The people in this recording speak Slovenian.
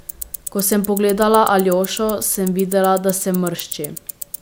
Ko sem pogledala Aljošo, sem videla, da se mršči.